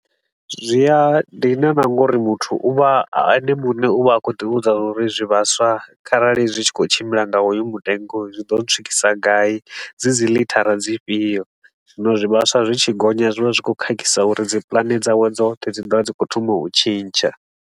Zwi a dina na nga uri muthu u vha a ene muṋe u vha a khou ḓi vhudza zwa uri zwivhaswa kharali zwi tshi khou tshimbila nga hoyu mutengo zwi ḓo ntswikisa gai. Dzi dzi lithara dzifhio zwivhaswa zwi tshi gonya zwi vha zwi khou khakhisa uri dzi pulane dzawe dzoṱhe dzi ḓo vha dzi khou thoma u tshintsha.